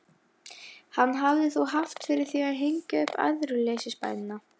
Hann hafði þó haft fyrir því að hengja upp æðruleysisbænina.